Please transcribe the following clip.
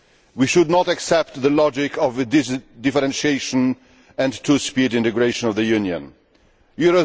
We should not accept the logic of differentiation and a two speed integration of the EU.